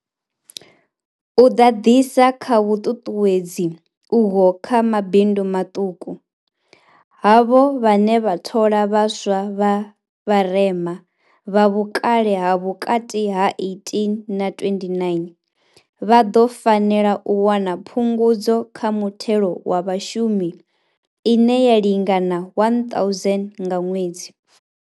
U ḓadzisa kha vhuṱuṱuwedzi uho kha mabindu maṱuku, havho vhane vha thola vha swa vha vharema, vha vhukale ha vhukati ha 18 na 29, vha ḓo fanela u wana Phungudzo kha Muthelo wa Vhashumi ine ya lingana R1 000 nga ṅwedzi.